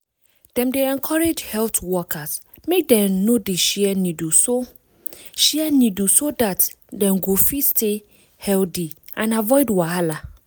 dem dey encourage health workers make dem no dey share needle so share needle so dat dem go fit stay healthy and avoid wahala.